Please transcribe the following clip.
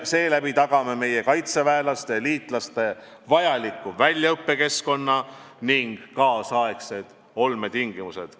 Seeläbi tagame meie kaitseväelaste ja liitlaste vajaliku väljaõppekeskkonna ning kaasaegsed olmetingimused.